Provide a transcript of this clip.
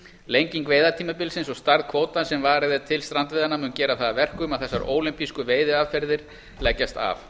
lenging veiðitímabilsins og stærð kvótans sem varið er til strandveiðanna mun gera það að verkum að þessar ólympísku veiðiaðferðir leggjast af